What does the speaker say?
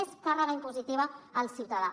més càrrega impositiva al ciutadà